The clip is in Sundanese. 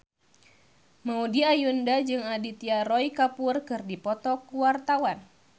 Maudy Ayunda jeung Aditya Roy Kapoor keur dipoto ku wartawan